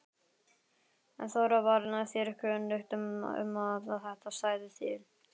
Þóra: Var þér kunnugt um að þetta stæði til?